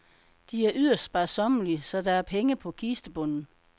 De er yderst sparsommelige, så der er penge på kistebunden.